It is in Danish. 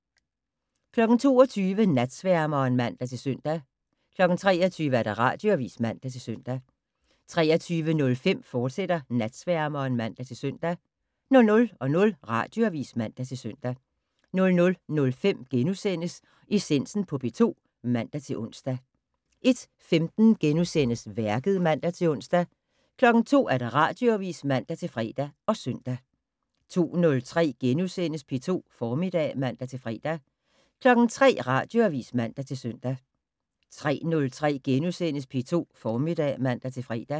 22:00: Natsværmeren (man-søn) 23:00: Radioavis (man-søn) 23:05: Natsværmeren, fortsat (man-søn) 00:00: Radioavis (man-søn) 00:05: Essensen på P2 *(man-ons) 01:15: Værket *(man-ons) 02:00: Radioavis (man-fre og søn) 02:03: P2 Formiddag *(man-fre) 03:00: Radioavis (man-søn) 03:03: P2 Formiddag *(man-fre)